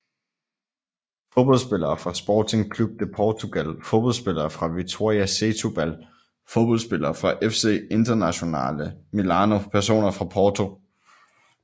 Fodboldspillere fra Sporting Clube de Portugal Fodboldspillere fra Vitória Setúbal Fodboldspillere fra FC Internazionale Milano Personer fra Porto